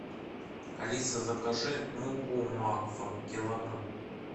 алиса закажи муку макфа килограмм